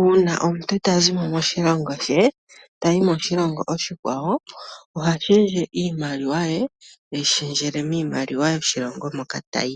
uuna omuntu ya zi mo moshilongo she tayi moshilongo oshikwawo oha shendje iimaliwa ye teyi shendjele miimaliwa yomoshilongo moka tayi.